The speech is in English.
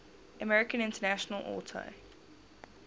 american international auto